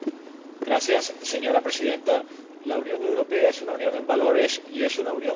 Señora Presidenta, la Unión Europea es una unión en valores y es una unión en Derecho.